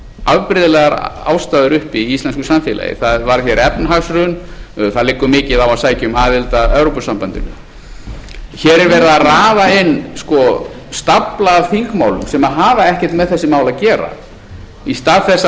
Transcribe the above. afbrigðilegar á aðstæður uppi í íslensku samfélagi það varð hér efnahagshrun það liggur mikið á að sækja um aðild að evrópusambandinu hér er verið að raða inn stafla af þingmálum sem hafa ekkert með þessi mál að gera í stað þess að